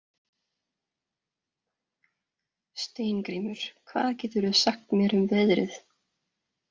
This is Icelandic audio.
Steingrímur, hvað geturðu sagt mér um veðrið?